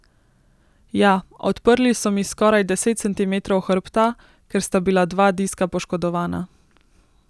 Ja, odprli so mi skoraj deset centimetrov hrbta, ker sta bila dva diska poškodovana.